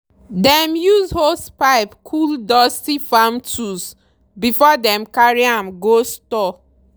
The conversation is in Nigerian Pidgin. dem use hosepipe cool dusty farm tools before dem carry am go store.